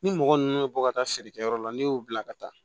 Ni mɔgɔ ninnu bɛ bɔ ka taa feerekɛyɔrɔ la n'i y'u bila ka taa